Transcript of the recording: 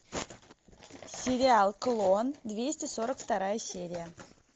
сериал клон двести сорок вторая серия